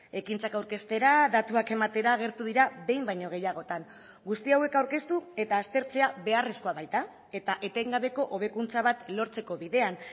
ekintzak aurkeztera datuak ematera agertu dira behin baino gehiagotan guzti hauek aurkeztu eta aztertzea beharrezkoa baita eta etengabeko hobekuntza bat lortzeko bidean